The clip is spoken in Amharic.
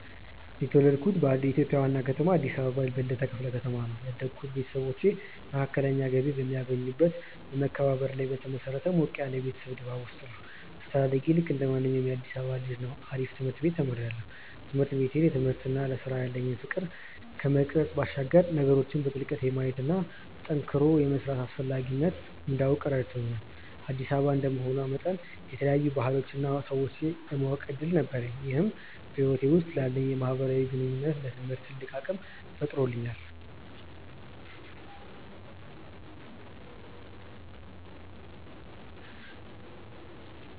የተወለድኩት በኢትዮጵያ ዋና ከተማ አዲስ አበባ በልደታ ክፍለ ከተማ ነው። ያደግኩት ቤተሰቦቼ መካከለኛ ገቢ በሚያገኙበት በመከባበርና ላይ በተመሰረተ ሞቅ ያለ የቤተሰብ ድባብ ውስጥ ነው። አስተዳደጌ ልክ እንደማንኛውም የአዲሳባ ልጅ ነው አሪፍ ትምርት ቤት ተምሪያለሁ። ትምህርት ቤቴ ለትምህርትና ለስራ ያለኝን ፍቅር ከመቅረጽ ባሻገር ነገሮችን በጥልቀት የማየትና ጠንክሮ የመስራትን አስፈላጊነት እንዳውቅ ረድቶኛል። አዲስ አበባ እንደመሆኗ መጠን የተለያዩ ባህሎችንና ሰዎችን የማወቅ እድል ነበረኝ ይህም በህይወቴ ውስጥ ላለኝ የማህበራዊ ግንኙነትና ለትምህርቴ ትልቅ አቅም ፈጥሮልኛል።